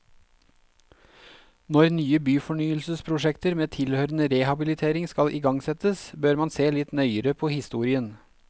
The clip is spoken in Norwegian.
Når nye byfornyelsesprosjekter med tilhørende rehabilitering skal igangsettes, bør man se litt nøyere på historien.